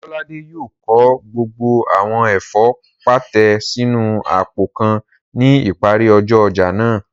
Ọlọ́ládé yóò kó gbogbo àwọn ẹ̀fọ́ pàtẹ sínu àpò kan ní ìparí ọjọ́ ọjà náà